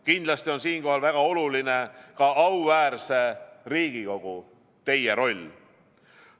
Kindlasti on siinkohal väga oluline ka auväärse Riigikogu, teie roll.